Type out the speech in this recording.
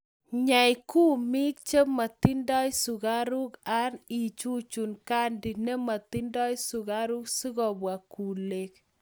Nyei gumit nematindoi sukaruk an ichuchun candy nematindoi sugaruk sikopwa bgulek